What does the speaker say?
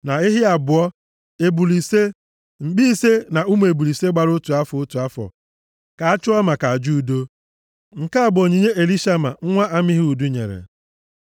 na ehi abụọ, ebule ise, mkpi ise na ụmụ ebule ise gbara otu afọ, otu afọ, ka a chụọ maka aja udo. Nke a bụ onyinye Elishama nwa Amihud nyere.